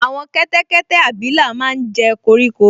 Àwọn kẹ́tẹ́kẹ́tẹ́ abilà máa n jẹ koríko